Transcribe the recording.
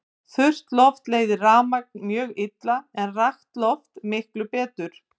Þurrt loft leiðir rafmagn mjög illa en rakt loft miklu betur.